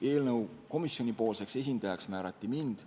Eelnõu komisjonipoolseks ettekandjaks määrati mind.